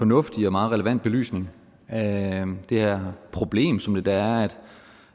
fornuftig og meget relevant belysning af det her problem som det da